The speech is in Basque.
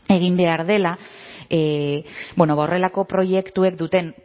egin behar dela horrelako proiektuek duten